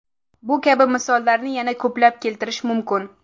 Bu kabi misollarni yana ko‘plab keltirish mumkin.